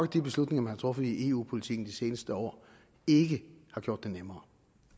de beslutninger man har truffet i eu politikken de seneste år ikke har gjort det nemmere